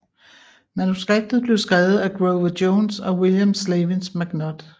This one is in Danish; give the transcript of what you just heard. Manuskriptet blev skrevet af Grover Jones og William Slavens McNutt